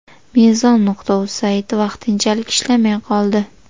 Mezon.uz sayti vaqtinchalik ishlamay qoldi.